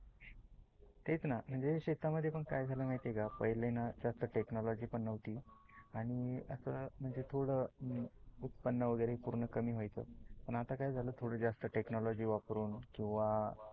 टेच ना शेता मध्ये पण काय झाल माहिती आहे का पहिले टेक्नोलोजी पण नवती आणि अस म्हणजे थोड उत्पन वगेरे पुरेन कमी वायचं. पण आता काय झाल थोड जास्त टेक्नोलोजी वापरून किवा